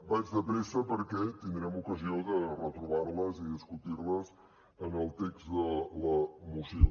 vaig de pressa perquè tindrem ocasió de retrobar les i discutir les en el text de la moció